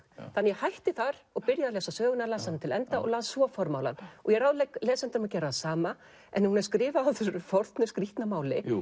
ég hætti þar og byrjaði að lesa söguna og las hana til enda og las svo formálann ég ráðlegg lesendum að gera það sama en hún er skrifuð á þessu forna skrýtna máli